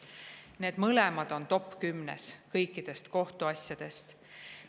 Need mõlemad on top 10‑s kõikide kohtuasjade seas.